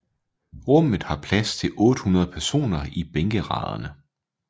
Rummet har plads til 800 personer i bænkeraderne